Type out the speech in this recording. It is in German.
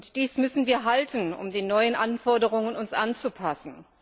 Dies müssen wir halten, um uns den neuen Anforderungen anzupassen.